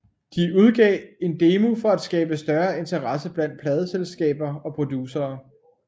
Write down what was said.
De udgav en demo for at skabe større interesse blandt pladeselskaber og producere